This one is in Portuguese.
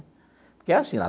Porque é assim, lá.